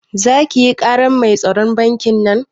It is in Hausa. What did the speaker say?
Zaki yi karar mai tsaron bankin nan?